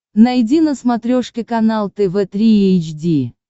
найди на смотрешке канал тв три эйч ди